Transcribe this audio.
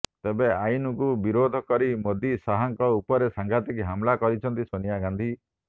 ତେବେ ଆଇନକୁ ବିରୋଧ କରି ମୋଦି ଶାହାଙ୍କ ଉପରେ ସାଙ୍ଘାତିକ ହମଲା କରିଛନ୍ତି ସୋନିଆ ଗାନ୍ଧୀ